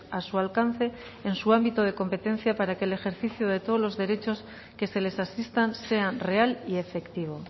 a su alcance en su ámbito de competencia para que el ejercicio de todos los derechos que se les asistan sean real y efectivo